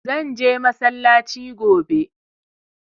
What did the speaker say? Zan je masallaci gobe